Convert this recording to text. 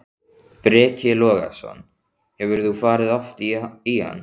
Breki Logason: Hefur þú farið oft í hann?